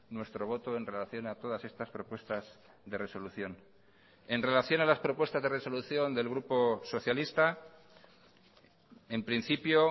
nuestro voto en relación a todas estas propuestas de resolución en relación a las propuestas de resolución del grupo socialista en principio